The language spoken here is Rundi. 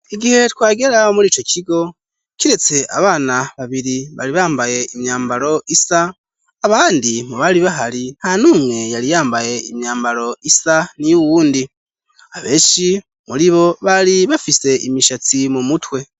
igihe twagera muri ico kigo, kiretse abana babiri bari bambaye imyambaro isa, abandi mu bari bahari nta numwe yari yambaye imyambaro isa niyo uwundi. abenshi muri bo bari bafise imishatsi mu mutwe.